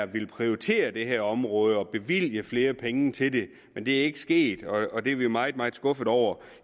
ville prioritere det her område og bevilge flere penge til det men det er ikke sket og det er vi meget meget skuffet over